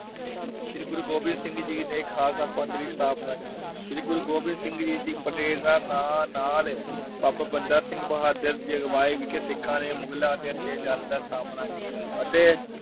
ਸ਼੍ਰੀ ਗੁਰੂ ਗੋਬਿੰਦ ਸਿੰਘ ਜੀ ਨੇ ਖਾਲਸਾ ਪੰਥ ਦੀ ਸਥਾਪਨਾ ਕੀਤੀ। ਸ਼੍ਰੀ ਗੁਰੂ ਗੋਬਿੰਦ ਸਿੰਘ ਜੀ ਦੀ ਪ੍ਰੇਰਨਾ ਨਾ ਅਹ ਨਾਲ ਬਾਬਾ ਬੰਦਾ ਸਿੰਘ ਬਹਾਦੁਰ ਦੀ ਅਗਵਾਈ ਵਿਖੇ ਸਿੱਖਾਂ ਨੇ ਮੁਗਲਾਂ ਦੇ ਅਤਿਆਚਾਰਾਂ ਦਾ ਸਾਮਣਾ ਕੀਤਾ ਅਤੇ